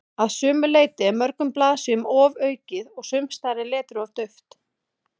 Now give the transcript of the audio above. Að sumu leyti er mörgum blaðsíðum ofaukið og sumsstaðar er letrið of dauft.